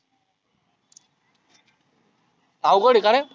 आवघड आहे कारे?